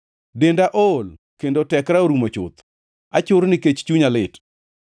Denda ool kendo tekra orumo chuth; achur nikech chunya lit.